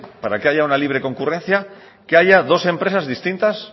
para que haya una libre concurrencia que haya dos empresas distintas